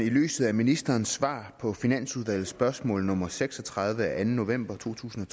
i lyset af ministerens svar på finansudvalgets spørgsmål nummer seks og tredive af anden november to tusind